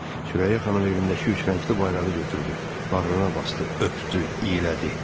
Sürəyya xanım evindəki üçrəngli bayrağı götürdü, bağrına basdı, öpdü, iylədi.